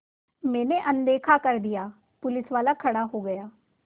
मैंने अनदेखा कर दिया पुलिसवाला खड़ा हो गया